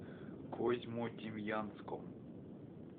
козьмодемьянском